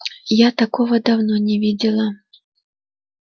я такого давно не видела